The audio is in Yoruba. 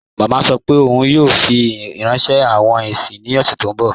Mama sọ́ pé óun yóò fi ránṣẹ̀ awọn ìrìn ní ọṣẹ̀ tó nbọ̀.